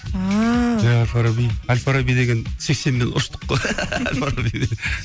ааа әл фараби сексенмен ұштық қой